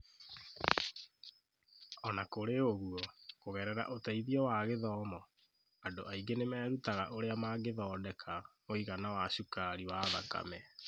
O na kũrĩ ũguo, kũgerera ũteithio na gĩthomo, andũ aingĩ nĩ merutaga ũrĩa mangĩthodeka mũigana wa cukari wa thakame